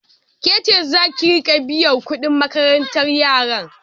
Ke ceza ki riƙa biyan kuɗin makarantar yara?